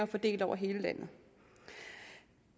fordelt over hele landet